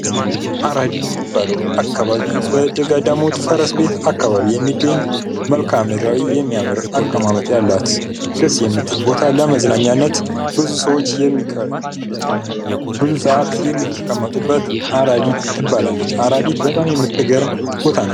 አራዲ የሚባለው አካባቢ በገዳሙ ፈረስ ቤት አካባቢ የሚገኝ መልከዓ ምድራዊ የሚያምር አቀማመጥ ያላት ደስ የምትል ቦታ ለመዝናኛነት ብዙ ሰዓት የሚቀመጡበት አራዲት ትባላለች። አራዲት በጣም የምትገርም ቦታ ናት ።